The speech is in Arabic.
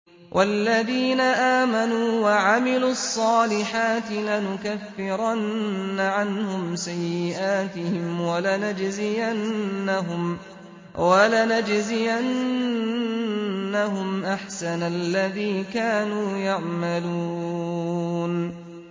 وَالَّذِينَ آمَنُوا وَعَمِلُوا الصَّالِحَاتِ لَنُكَفِّرَنَّ عَنْهُمْ سَيِّئَاتِهِمْ وَلَنَجْزِيَنَّهُمْ أَحْسَنَ الَّذِي كَانُوا يَعْمَلُونَ